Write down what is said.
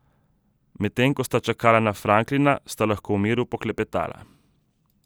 Medtem ko sta čakala na Franklina, sta lahko v miru poklepetala.